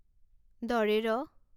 ড়